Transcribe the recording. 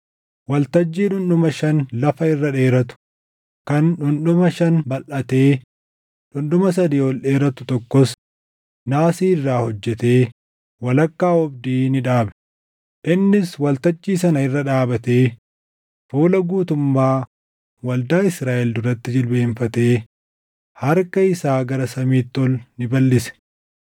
Waltajjii dhundhuma shan lafa irra dheeratu, kan dhundhuma shan balʼatee dhundhuma sadii ol dheeratu tokkos naasii irraa hojjetee walakkaa oobdii ni dhaabe; innis waltajjii sana irra dhaabatee fuula guutummaa waldaa Israaʼel duratti jilbeenfatee harka isaa gara samiitti ol ni balʼise.